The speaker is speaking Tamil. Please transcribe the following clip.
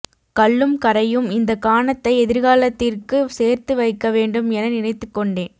கல்லும் கரையும் இந்த கானத்தை எதிர்காலத்திற்கும் சேர்த்து வைக்கவேண்டும் என நினைத்துக்கொண்டேன்